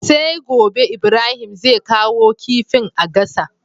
Sai gobe Ibrahim zai kawo kifin a gasa